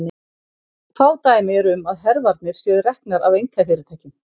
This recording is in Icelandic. Fá dæmi eru um að hervarnir séu reknar af einkafyrirtækjum.